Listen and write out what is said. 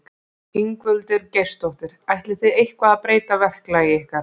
Ingveldur Geirsdóttir: Ætlið þið eitthvað að breyta verklagi ykkar?